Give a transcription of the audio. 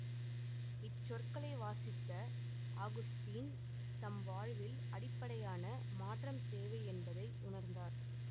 இச்சொற்களை வாசித்த அகுஸ்தீன் தம் வாழ்வில் அடிப்படையான மாற்றம் தேவை என்பதை உணர்ந்தார்